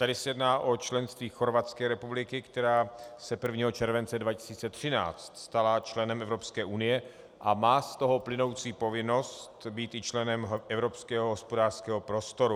Tady se jedná o členství Chorvatské republiky, která se 1. července 2013 stala členem Evropské unie a má z toho plynoucí povinnost být i členem Evropského hospodářského prostoru.